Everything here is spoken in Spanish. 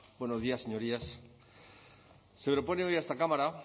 buenos días señorías se propone hoy a esta cámara